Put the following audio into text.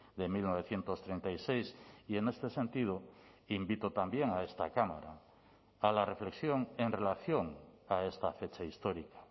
de mil novecientos treinta y seis y en este sentido invito también a esta cámara a la reflexión en relación a esta fecha histórica